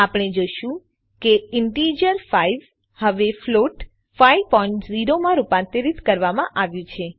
આપણે જોશું કે ઇનટીજર 5 હવે ફ્લોટ 5 0 માં રૂપાંતરિત કરવામાં આવ્યું છે